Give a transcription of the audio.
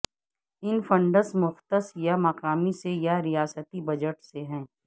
ان funds مختص یا مقامی سے یا ریاستی بجٹ سے ہیں